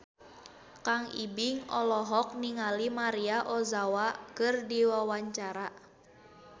Kang Ibing olohok ningali Maria Ozawa keur diwawancara